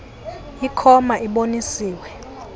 ikho ma iboniswe